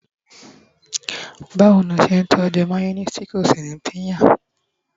bawo ni o ṣe n tọju mayonnaise ti ko sí pinya